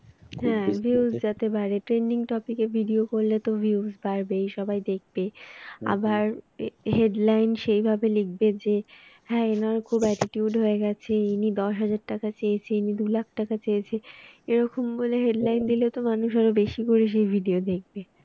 হ্যাঁ এনার খুব attitude হয়ে গেছে। ইনি দশ হাজার টাকা চেয়েছে ইনি দু লাখ টাকা চেয়েছে। এরকম বলে headline দিলে তো মানুষ আরো বেশি করে সেই video দেখবে।